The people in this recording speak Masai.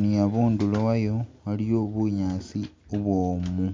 ni abundulo wayo waliyo bunyaasi bubwomu.